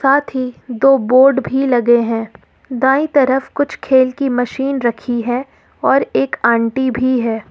साथ ही दो बोर्ड भी लगे हैं दाई तरफ कुछ खेल की मशीन रखी है और एक आंटी भी है।